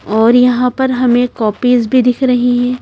और यहाँ पर हमें कॉपीज भी दिख रही हैं।